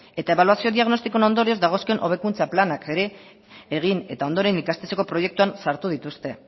eta ebaluazio diagnostikoen ondorioz dagozkion hobekuntza planak ere egin eta ondoren ikastetxeko proiektuan sartu dituzte